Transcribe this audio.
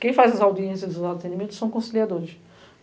Quem faz as audiências e os atendimentos são conciliadores.